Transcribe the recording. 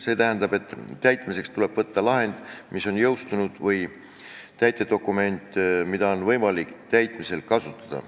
See tähendab, et täitmiseks tuleb võtta lahend, mis on jõustunud, või täitedokument, mida on võimalik täitmisel kasutada.